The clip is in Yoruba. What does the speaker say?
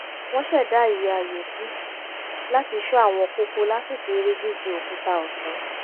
wọ́n ṣẹ̀dá ìwé ayò sí láti ṣọ́ àwọn kókó lásìkò eré jíju òkúta ọ̀sán